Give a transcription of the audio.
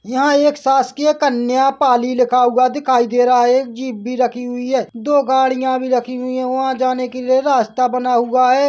यहाँ एक शासकीय कन्या पाली लिखा हुआ दिखाई दे रहा है एक जीप भी रखी हुई है दो गाड़ियाँ भी रखी हुई है वहाँ जाने के लिए रास्ता बना हुआ है।